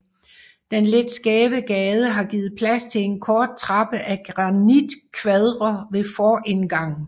Den lidt skæve gade har givet plads til en kort trappe af granitkvader ved forindgangen